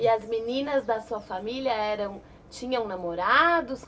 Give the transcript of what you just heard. E as meninas da sua família eram... tinham namorados?